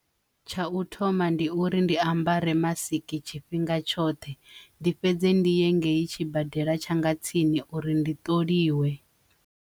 Tsha u thoma ndi uri ndi ambara mask tshifhinga tshoṱhe ndi fhedze ndi ye ngei tshibadela tshanga tsini uri ndi ṱoliwa.